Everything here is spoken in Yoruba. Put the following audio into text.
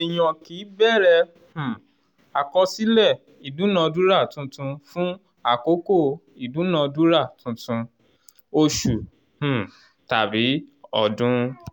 èèyàn kì í bẹ̀rẹ̀ um àkọsílẹ̀ ìdúnadúrà tuntun fún àkókò ìdúnadúrà tuntun oṣù um tàbí ọdún.